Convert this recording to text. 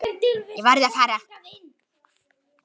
Ég varð að fara.